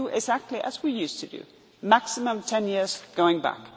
way. We do exactly as we used to do maximum 10 years' going